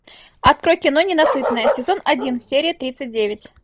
открой кино ненасытные сезон один серия тридцать девять